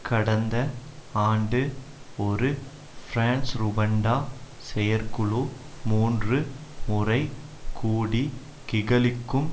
கடந்த ஆண்டு ஒரு பிரான்ஸ்ருவண்டா செயற்குழு மூன்று முறை கூடி கிகலிக்கும்